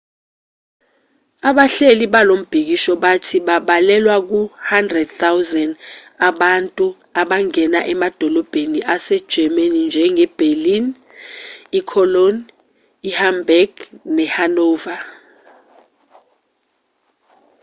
abahleli balombhikisho bathi babalelwa ku 100 000 abantu abangena emadolobheni ase-germanynjenge-berlin i-cologne i-hamburg ne-hanover